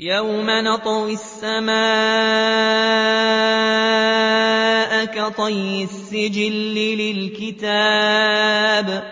يَوْمَ نَطْوِي السَّمَاءَ كَطَيِّ السِّجِلِّ لِلْكُتُبِ ۚ